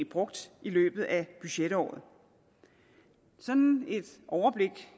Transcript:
brugt i løbet af budgetåret sådan et overblik